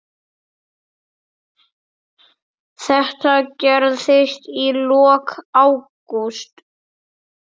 Þetta gerðist í lok ágúst.